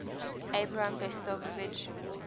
abram besicovitch